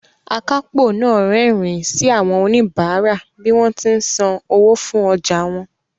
Akápò náà rẹ́rìín sí àwọn oníbàárà bí wọ́n ti ń san owó fún ọjà wọn